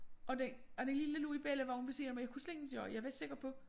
Og den og den lille lå i bellivognen ved siden af mig jeg kunne slet ingenting gøre jeg var sikker på